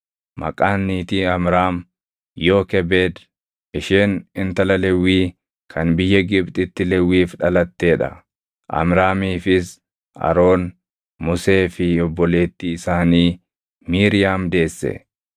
maqaan niitii Amraam Yookebeed. Isheen intala Lewwii kan biyya Gibxitti Lewwiif dhalattee dha. Amraamiifis Aroon, Musee fi obboleettii isaanii Miiriyaam deesse.